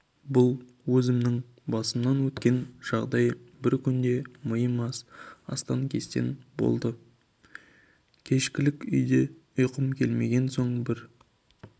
бұл өзімнің басымнан өткен жағдай бір күнде миым астан-кестең болды кешкілік үйде ұйқым келмеген соң бір